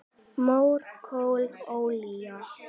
Mór, kol, olía